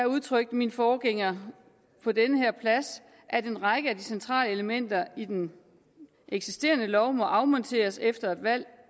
udtrykte min forgænger på den her plads at en række af de centrale elementer i den eksisterende lov må afmonteres efter et valg